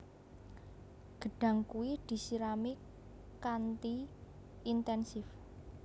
Gedhang kudu disirami kanthi inténsif